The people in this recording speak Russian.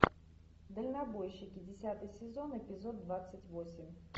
дальнобойщики десятый сезон эпизод двадцать восемь